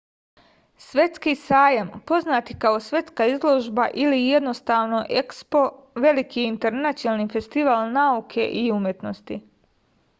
светски сајам познат и као светска изложба или једноставно експо велики је интернационални фестивал науке и уметности